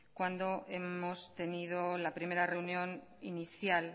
cuando hemos tenido la primera reunión inicial